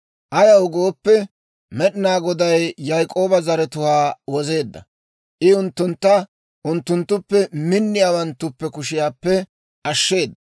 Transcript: Ayaw gooppe, Med'inaa Goday Yaak'ooba zaratuwaa wozeedda; I unttuntta unttunttuppe minniyaawanttuppe kushiyaappe ashsheeda.